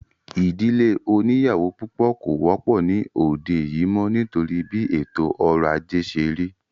Ìdílé oníyàwó púpọ̀ kò wọ́pọ̀ ní òde yìí mọ́ nítorí bí ètò ọrọ̀ ajé ṣé rí